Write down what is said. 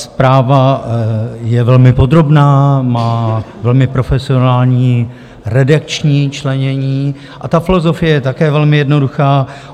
Zpráva je velmi podrobná, má velmi profesionální redakční členění a ta filozofie je také velmi jednoduchá.